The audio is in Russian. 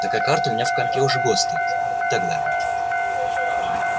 такая карта у меня в компе уже год стоит и так далее